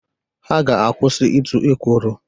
Ha ga-akwụsị ịtụ ekworo